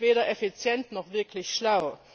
Das ist weder effizient noch wirklich schlau.